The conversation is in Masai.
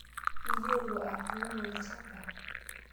Iyielo atuuno lchamba?